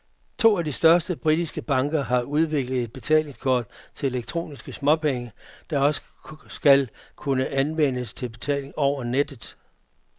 To af de største britiske banker har udviklet et betalingskort til elektroniske småpenge, der også skal kunne anvendes til betaling over nettet.